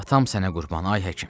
Atam sənə qurban, ay həkim.